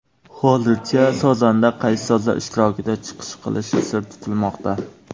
Hozircha sozanda qaysi sozlar ishtirokida chiqish qilishi sir tutilmoqda.